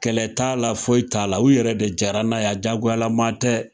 Kɛlɛ t'a la foyi t'a la u yɛrɛ de jɛra n'a ye a diyagolama tɛ.